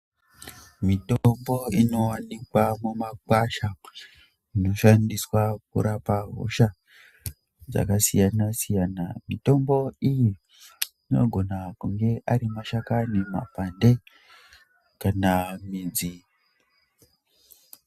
Mitombo inowanikwa mumakwasha inoshandiswa kurapa hosha dzakasiyana-siyana. Mitombo iyi inogona kunge ari mashakani, makwande kana midzi.